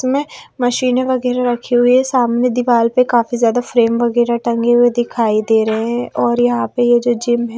में मशीनें वगैरह रखी हुई है सामने दीवार पे काफी ज्यादा फ्रेम वगैरह टंगे हुए दिखाई दे रहे हैं और यहां पे ये जो जिम है।